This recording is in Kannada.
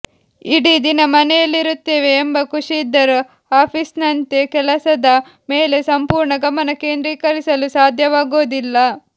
ಇಡೀ ದಿನ ಮನೆಯಲ್ಲಿರುತ್ತೇವೆ ಎಂಬ ಖುಷಿಯಿದ್ದರೂ ಆಫೀಸ್ನಂತೆ ಕೆಲಸದ ಮೇಲೆ ಸಂಪೂರ್ಣ ಗಮನ ಕೇಂದ್ರೀಕರಿಸಲು ಸಾಧ್ಯವಾಗೋದಿಲ್ಲ